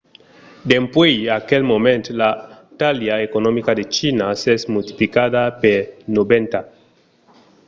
dempuèi aquel moment la talha economica de china s'es multiplicada per 90